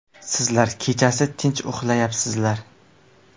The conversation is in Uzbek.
Sizlar kechasi tinch uxlayapsizlar.